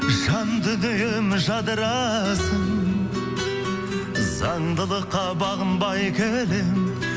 жан дүнием жадырасын заңдылыққа бағынбай келемін